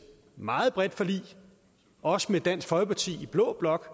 meget bredt forlig også med dansk folkeparti i blå blok